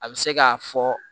A bɛ se k'a fɔ